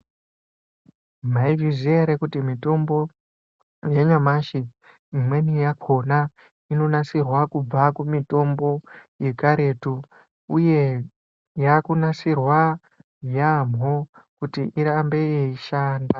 Maizviziya ere kuti mitombo yanyamashi imweni yakona inonasirwa kubva kumitombo yekaretu uye yakunasirwa yamho kuti irambe yeishanda